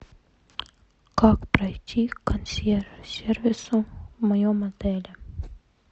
как пройти к консьерж сервису в моем отеле